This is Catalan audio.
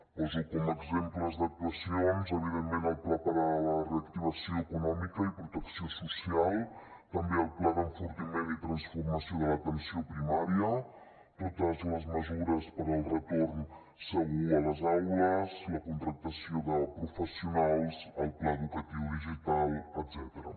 poso com a exemples d’actuacions evidentment el pla per a la reactivació econòmica i protecció social també el pla d’enfortiment i transformació de l’atenció primària totes les mesures per al retorn segur a les aules la contractació de professionals el pla educatiu digital etcètera